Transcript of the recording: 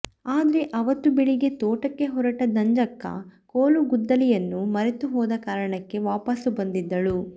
ಆದ್ರೆ ಅವತ್ತು ಬೆಳಗ್ಗೆ ತೋಟಕ್ಕೆ ಹೊರಟ ನಂಜಕ್ಕ ಕೋಲು ಗುದ್ದಲಿಯನ್ನು ಮರೆತುಹೋದ ಕಾರಣಕ್ಕೆ ವಾಪಾಸು ಬಂದಿದ್ದಳು